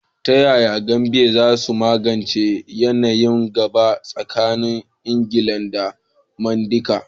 Ta yaya Gambia za ta magance yanayin gaba tsakanin Ingilishi da Mandinka?